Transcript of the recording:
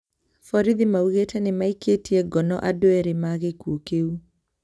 Borithi maugĩte nimaikĩtie ngono andũ erĩ ma gĩkuũ kiu